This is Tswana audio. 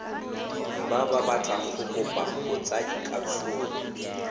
ba batlang go kopa botsadikatsholo